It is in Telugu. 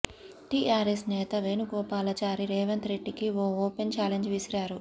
టీఆర్ఎస్ నేత వేణుగోపాలచారి రేవంత్ రెడ్డికి ఓ ఓపెన్ చాలెంజ్ విసిరారు